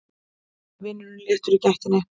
Vinurinn léttur í gættinni.